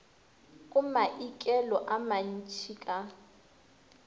go maikelo a mantšhi ka